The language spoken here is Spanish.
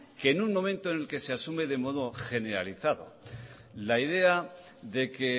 que en un momento en el que se asume de modo generalizado la idea de que